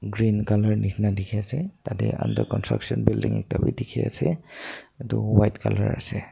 green colour nishina dikhiase tatae under construction building ekta bi dikhiase edu white colour ase.